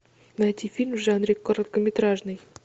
найти фильм в жанре короткометражный